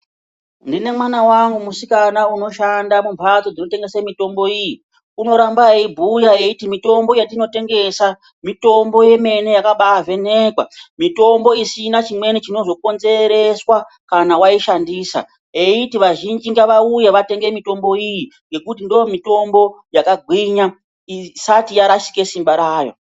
Ndine mwana wangu musikana unoshanda mumhatso dzinotengesa mitombo iyi. Unoramba eibhuya eiti mitombo yatinotengesa, mitombo yemene yakambaavhenekwa. Mitombo isina chimweni chinozokonzereswa kana waishandisa. Eiti vazhinji ngavauye vatenge mitombo iyi ngekuti ndiyo mitombo yakagwinya isati yarashika simba rayo.